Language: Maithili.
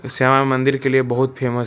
मंदिर के लिए बहुत फेमस --